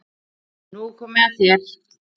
Nú er komið að þér.